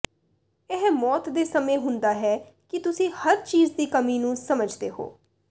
ਇਹ ਮੌਤ ਦੇ ਸਮੇਂ ਹੁੰਦਾ ਹੈ ਕਿ ਤੁਸੀਂ ਹਰ ਚੀਜ ਦੀ ਕਮੀ ਨੂੰ ਸਮਝਦੇ ਹੋ